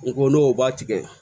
N ko n'o b'a tigɛ